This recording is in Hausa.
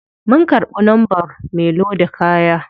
Mun karbi numbern me loda kaya.